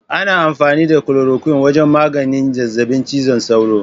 Ana amfani da korokwin wajen maganin zazzabin cizon sauro.